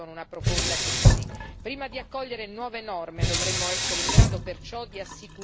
Prima di accogliere nuove norme, dovremmo essere in grado perciò di assicurare alcune tutele.